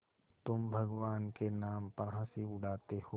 तुम भगवान के नाम पर हँसी उड़ाते हो